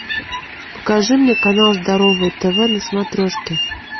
покажи мне канал здоровое тв на смотрешке